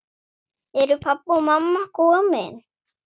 Eru pabbi og mamma komin?